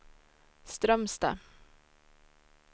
Strömstad